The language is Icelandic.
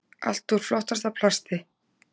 Allt úr flottasta plasti.